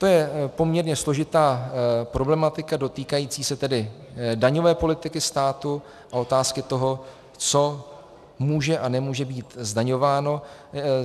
- To je poměrně složitá problematika dotýkající se tedy daňové politiky státu a otázky toho, co může a nemůže být zdaňováno.